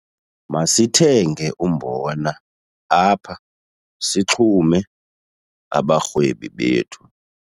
Masithenge umbona apha sixume abarhwebi bethu.